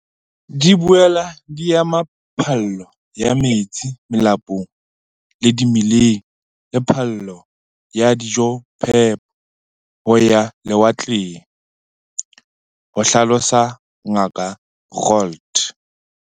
"Di boela di ama phallo ya metsi melapong le dimeleng le phallo ya dijophepo ho ya lewatleng," ho hlalosa Ngaka Roualt.